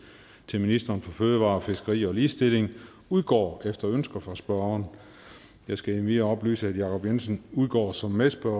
til ministeren for fødevarer fiskeri og ligestilling udgår efter ønske fra spørgeren jeg skal endvidere oplyse at jacob jensen udgår som medspørger